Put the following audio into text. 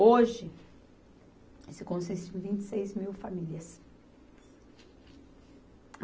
Hoje, isso consiste em vinte e seis mil famílias.